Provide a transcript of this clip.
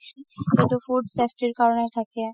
সেইটো food safety ৰ কাৰণে থাকে